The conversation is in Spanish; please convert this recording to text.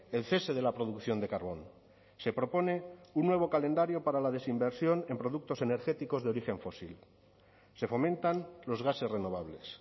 el cese de la producción de carbón se propone un nuevo calendario para la desinversión en productos energéticos de origen fósil se fomentan los gases renovables